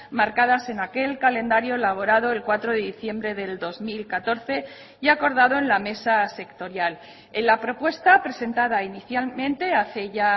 marcadas en aquel calendario elaborado el cuatro de diciembre del dos mil catorce y acordado en la mesa sectorial en la propuesta presentada inicialmente hace ya